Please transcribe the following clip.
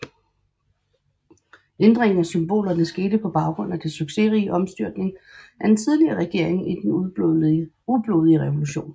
Ændringen af symbolerne skete på baggrund af det succesrige omstyrtning af den tidligere regering i den ublodige revolution